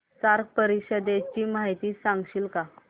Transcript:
SAARC परिषदेची माहिती सांगशील का